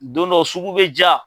Don dɔ sugu bɛ jaa.